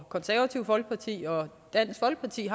konservative folkeparti og dansk folkeparti